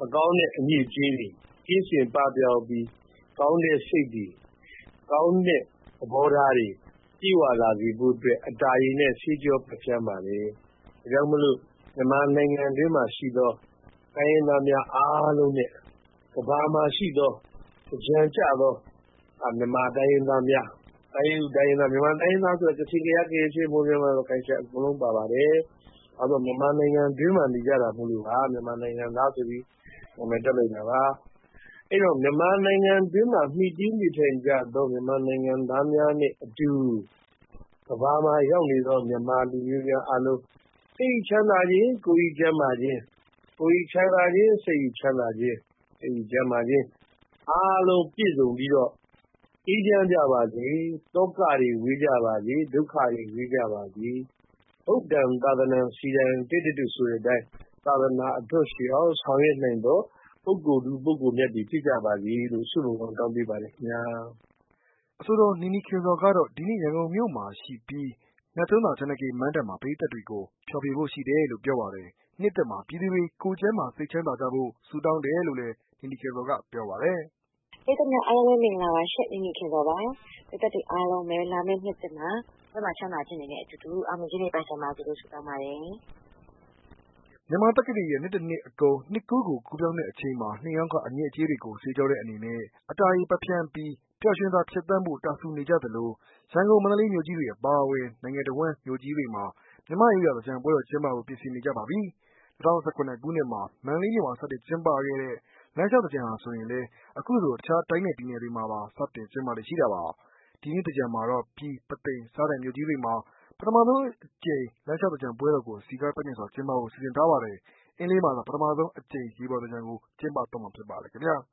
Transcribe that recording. မကောင်းတဲ့ အညစ်အကျေးတွေ ကင်းစင်ပပျောက်ပြီး ကောင်းတဲ့ စိတ်တွေ၊ ကောင်းတဲ့ သဘောထားတွေ ပြည့်ဝလာစေဖို့အတွက် အတာရေနဲ့ ဆေးကြာပတ်ဖျန်းပါတယ်။ ဒါကြောင့်မို့ မြန်မာနိုင်ငံအတွင်းမှာရှိသော တိုင်းရင်းသားများအားလုံး ကမ္ဘာမှာရှိသော သင်္ကြန်ကျသော မြန်မာတိုင်းရင်းသားများ၊ တိုင်းရင်းသူတိုင်းရင်းသားမျာ မြန်မာတိုင်းရင်းသားဆိုတာ ကချင်၊ ကယား၊ ကရင်၊ ချင်း၊ ဗမာ၊ မွန်၊ ရခိုင်၊ ရှမ်း အကုန်လုံးပါပါတယ်။ ဘာလို့လည်းဆိုတော့ မြန်မာနိုင်ငံအတွင်းမှာ နေကြတာမို့လို့ပါ။ မြန်မာနိုင်ငံသားဆိုပြီး နာမယ်တပ်လိုက်တာပါ။ အဲ့တော့ မြန်မာနိုင်ငံအတွင်းမှာ မှီတင်းနေထိုင်ကြသော မြန်မာနိုင်ငံသားများနှင့်အတူ ကမ္ဘာမှာ ရောက်နေသော မြန်မာလူမျိုးများအားလုံး စိတ်၏ချမ်းသားခြင်း၊ ကိုယ်၏ကျန်းမာခြင်း၊ ကိုယ်၏ချမ်းသာခြင်း၊ စိတ်၏ကျန်းမာခြင်း အားလုံးပြည့်စုံပြီးတော့ အေးချမ်းကြပါစေ။ သောကတွေ ဝေးကြပါစေ။ ဒုက္ခတွေဝေးကြပါစေ။ သာသနာ အဒွန့်ရှည်အောင်ဆောင်ရွက်နိုင်သော ပုဂ္ဂိုလ်ထူး ပုဂ္ဂိုလ်မြတ်တွေ ဖြစ်ကြပါစေလို့ ဆုမွန်ကောင်း တောင်းပေးပါတယ် ခင်ဗျာ။" အဆိုတော် နီနီခင်ဇော်ကတော့ ဒီနှစ် ရန်ကုန်မြို့မှာရှိနေမှာဖြစ်ပြီး မြကျွန်းသာ Channel K မဏ္ဍပ်မှာ ပရိသတ်တွေကို ဖျော်ဖြေဖို့ရှိတယ်လို့ ပြောပါတယ်။ နှစ်သစ်မှာ ပြည်သူတွေ ကိုယ်ကျန်းမာစိတ်ချမ်းသာကြဖို့ ဆုတောင်းတယ်လို့လည်း နီနီခင်ဇော်က ပြောပါတယ်။ "ပရိသတ်များ အားလုံးပဲ မင်္ဂလာပါရှင့် နီနီခင်ဇော်ပါ။ ပရိသတ်တွေ အားလုံးပဲ လာမယ့်နှစ်သစ်မှာ ကျန်းမာချမ်းသာခြင်းတွေနဲ့ အတူ အောင်မြင်ခြင်းတွေ ပိုင်ဆိုင်ပါစေလို့ ဆုတောင်းပါတယ်။" မြန်မာသက္ကရာဇ်ရဲ့ နှစ်တစ်နှစ် အကုန် နှစ်ကူးကို ကူးပြောင်းတဲ့အချိန်မှာ နှစ်ဟောင်းကအညစ်အကြေးတွေကို ဆေးကြောတဲ့အနေနဲ့ အတာရေ ပက်ဖျန်းပီး ပျော်ရွှင်စွာ ဖြတ်သန်းဖို့ တာစူနေကြသလို၊ ရန်ကုန်၊ မန္တလေးမြို့ကြီးတွေ အပါအဝင် နိုင်ငံတဝှမ်း မြို့ကြီးတွေမှာ မြန်မာ့ရိုးရာ သင်္ကြန်ပွဲတော်ကျင်းပဖို့ ပြင်ဆင်နေကြပါပြီ။ ၂၀၁၇ ခုနှစ်မှာ မန္တလေးမြို့မှာ စတင်ခဲ့တဲ့ လမ်းလျှောက် သင်္ကြန်ဟာဆိုရင်လည်း အခုဆို တခြားတိုင်းနဲ့ ပြည်နယ် တွေမှာပါ စတင် ကျင်းပလျက်ရှိတာပါ။ ဒီနှစ်သင်္ကြန်မှာတော့ ပြည်၊ ပုသိမ် စတဲ့ မြို့ကြီးတွေမှာ ပထမဆုံး အကြိမ် လမ်းလျှောက်သင်္ကြန်ပွဲတော်ကို စည်ကား သိုက်မြိုက်စွာ ကျင်းပဖို့ စီစဉ်ထားပါတယ်။ အင်းလေးမှာတော့ ပထမဆုံးအကြိမ် ရေပေါ်သင်္ကြန်ကို ကျင်းပသွားမှာဖြစ်ပါတယ်ခင်ဗျာ။